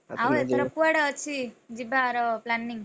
ଆଉ ଏଥର କୁଆଡେ ଅଛି, ଯିବାର planning ।